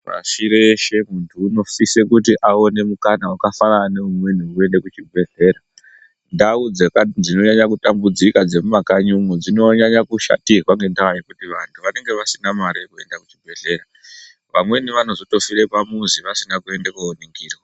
Pashibreshe muntu unosise kuti aone mukana wakafanana neamweni wekuende kuchibhedhlera. Ndau dzaka dzinonyanya kutambudzika dzemumakanyimo, dzinonyanya kushatirwa ngekuti vantu vanenge vasina mare yekuenda kuchibhedhlera. Vamweni vanotozofire pamuzi, vasina kuende kooningirwa.